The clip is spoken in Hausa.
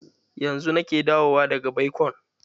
Yanzu nake dawowa daga baikon.